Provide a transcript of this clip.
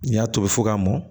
N y'a tobi fo k'a mɔn